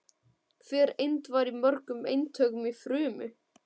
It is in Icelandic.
Hver eind væri í mörgum eintökum í frumu.